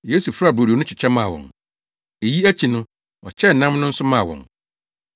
Yesu faa brodo no kyekyɛ maa wɔn. Eyi akyi no, ɔkyɛɛ nam no nso maa wɔn.